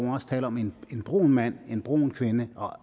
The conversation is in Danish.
må også tale om en brun mand en brun kvinde og